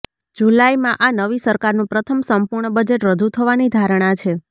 જુલાઈમાં આ નવી સરકારનું પ્રથમ સંપૂર્ણ બજેટ રજૂ થવાની ધારણા છે